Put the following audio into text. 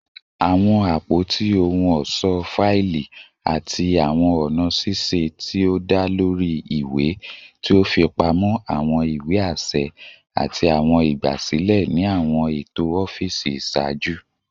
Awọn apoti ohun ọṣọ faili ati awọn ọna ṣiṣe ti o da lori iwe ti o fipamọ awọn iwe aṣẹ ati awọn igbasilẹ ni awọn eto ọfiisi iṣaaju